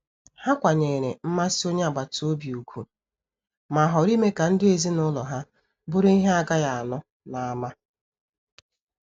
Ha kwanyere mmasị onye agbata obi ugwu, ma họọrọ ime ka ndụ ezinụlọ ha bụrụ ihe agaghi anu n'ama.